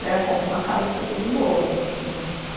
Daí eu compro uma casa e fico de boa né.